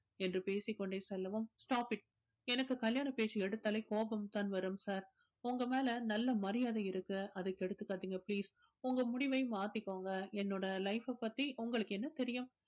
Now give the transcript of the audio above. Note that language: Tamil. என்று பேசிக் கொண்டே செல்லவும் stop it எனக்கு கல்யாண பேச்சு எடுத்தாலே கோபம்தான் வரும் sir உங்க மேல நல்ல மரியாதை இருக்கு அதை கெடுத்துக்காதீங்க please உங்க முடிவை மாத்திக்கோங்க என்னோட life அ பத்தி உங்களுக்கு என்ன தெரியும்